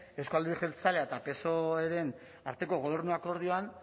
euzko alderdi jeltzalea eta psoeren arteko gobernu akordioan